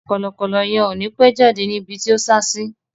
Kọ̀lọ̀kọ̀lọ yẹn ò ni pẹ́ jáde ní ibi tí o sá sí